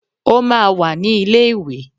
O máa wà ní ilé ìwé.